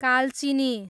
Kalchini